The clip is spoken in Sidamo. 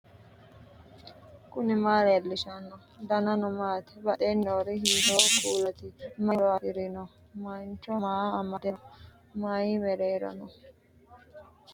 knuni maa leellishanno ? danano maati ? badheenni noori hiitto kuulaati ? mayi horo afirino ? mancho maa amadde no mayi mereero no